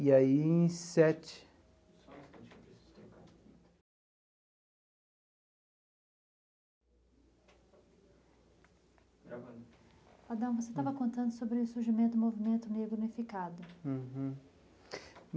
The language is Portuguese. E aí em sete... Adão, você estava contando sobre o surgimento do movimento negro unificado.